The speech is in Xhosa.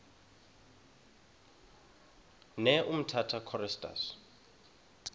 ne umtata choristers